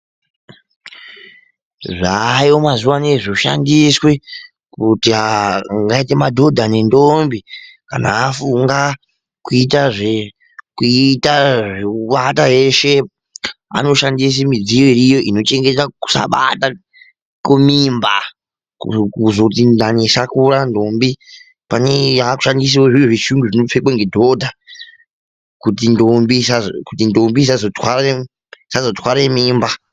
Zvaayo mazuva ano zvoshandiswa kuti angaite madhodha ngendombi kana afunga kuita zvekuata eshe. Anoshandisa midziyo iriyo inochengeta kusabata mimba. Kuzoti ndani isakura ndombi, pane yakushandiswawo. Zviri zvechiyungu zvaakupfekwa nedhodha kuti ndombi isazotware mimba.